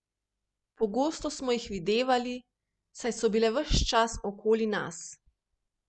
Pogosto smo jih videvali, saj so bile ves čas okoli nas.